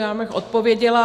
Já bych odpověděla.